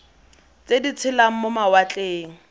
tse di tshelang mo mawatleng